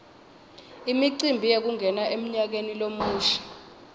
imicimbi yekungena emnyakeni lomusha